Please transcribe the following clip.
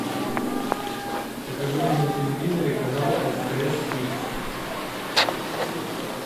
покажи мне на телевизоре канал стс кидс